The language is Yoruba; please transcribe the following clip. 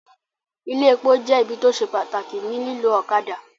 Ilé epo jẹ́ ibi tí ó se pàtàkì ní lílọ́ ọ̀kadà